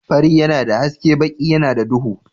Fari yana da haske baki yana da duhu.